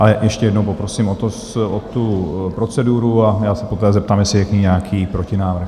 Ale ještě jednou poprosím o tu proceduru a já se poté zeptám, jestli je k ní nějaký protinávrh.